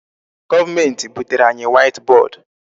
Government butere anyị white board.